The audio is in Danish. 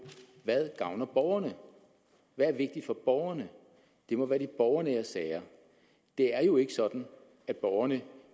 hvad gavner borgerne hvad er vigtigt for borgerne det må være de borgernære sager det er jo ikke sådan at borgerne